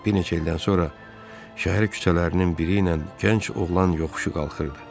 Bir neçə ildən sonra şəhər küçələrinin biri ilə gənc oğlan yoxuşu qalxırdı.